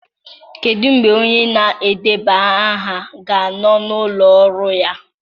Kedu mgbe onye na-edeba aha ga-anọ n'ụlọ ọrụ ya?